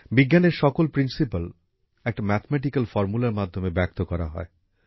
বিজ্ঞানের সকল নীতি একটা গাণিতিক সূত্রের মাধ্যমে ব্যক্ত করা হয়